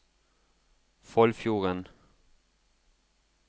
Foldfjorden